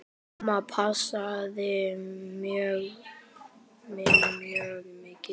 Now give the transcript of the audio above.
Amma passaði mig mjög mikið.